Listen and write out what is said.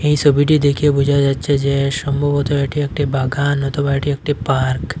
এই সবিটি দেখে বুঝা যাচ্ছে যে সম্ভবত এটি একটি বাগান অথবা এটি একটি পার্ক ।